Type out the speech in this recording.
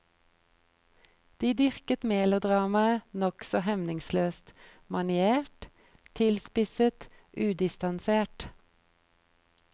De dyrket melodramaet nokså hemningsløst, maniert, tilspisset, udistansert.